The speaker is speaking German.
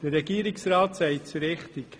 Der Regierungsrat sagt es richtig: